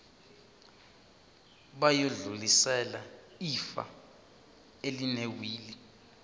bayodlulisela ifa elinewili